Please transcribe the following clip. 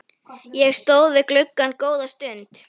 Ég stóð við gluggann góða stund.